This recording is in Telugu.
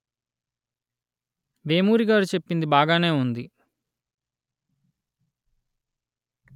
వేమూరి గారు చెప్పింది బాగానే ఉంది